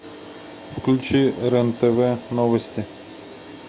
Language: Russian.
включи рен тв новости